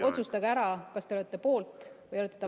Otsustage ära, kas te olete poolt või olete vastu.